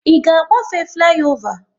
Ị ga agbafe fliova?